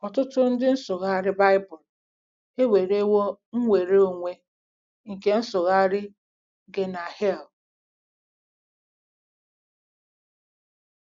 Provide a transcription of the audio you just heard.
Ọtụtụ ndị nsụgharị Bible ewerewo nnwere onwe nke ịsụgharị Geʹen·na “ hell.